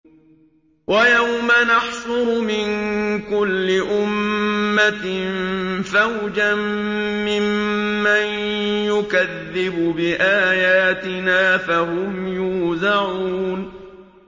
وَيَوْمَ نَحْشُرُ مِن كُلِّ أُمَّةٍ فَوْجًا مِّمَّن يُكَذِّبُ بِآيَاتِنَا فَهُمْ يُوزَعُونَ